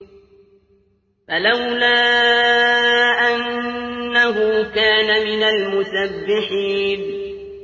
فَلَوْلَا أَنَّهُ كَانَ مِنَ الْمُسَبِّحِينَ